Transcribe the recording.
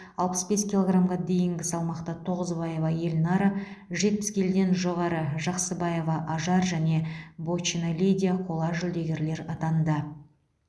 алпыс бес килограмға дейінгі салмақта тоғызбаева эльнара жетпіс келіден жоғары жақсыбаева ажар және бочина лидия қола жүлдегер атанды